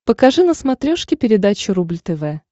покажи на смотрешке передачу рубль тв